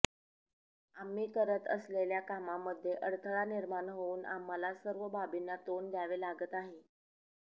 आम्ही करत असलेल्या कामामध्ये अडथळा निर्माण होऊन आम्हाला सर्व बाबींना तोंड द्यावे लागत आहे